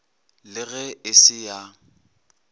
le ge e se ya